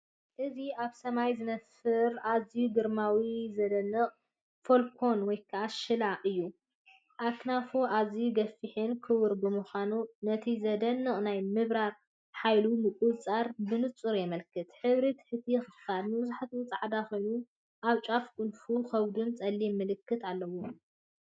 እዚ ኣብ ሰማይ ዝነፍር ኣዝዩ ግርማዊን ዝድነቕን ፋልኮን/ሽላ እዩ። ኣኽናፋ ኣዝዩ ገፊሕን ክቡብን ብምዃኑ፡ ነቲ ዘደንቕ ናይ ምብራር ሓይሉን ምቁጽጻርን ብንጹር የመልክት። ሕብሪ ትሕቲ ክፋላ መብዛሕትኡ ጻዕዳ ኮይኑ፡ ኣብ ጫፍ ክንፉን ከብዱን ጸሊም ምልክት ኣለዎ።